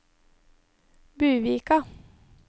Buvika